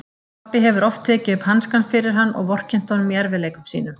Pabbi hefur oft tekið upp hanskann fyrir hann og vorkennt honum í erfiðleikum sínum.